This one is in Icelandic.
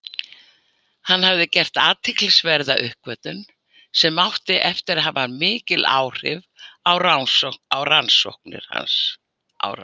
Hann hafði gert athyglisverða uppgötvun sem átti eftir að hafa mikil áhrif á rannsóknir hans.